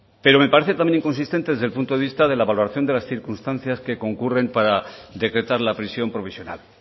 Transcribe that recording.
pero me parece también inconsistente desde el punto de vista de la valoración de las circunstancias que concurren para decretar la prisión provisional